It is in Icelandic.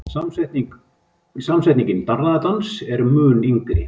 Samsetningin darraðardans er mun yngri.